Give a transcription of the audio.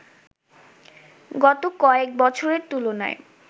গত কয়েক বছরের তুলনায়